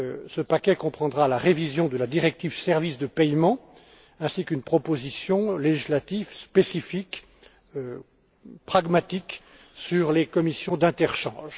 Ce paquet comprendra la révision de la directive Services de paiement, ainsi qu'une proposition législative spécifique pragmatique sur les commissions d'interchange.